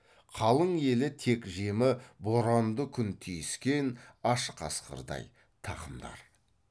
қалың елі тек жемі боранды күн тиіскен аш қасқырдай тақымдар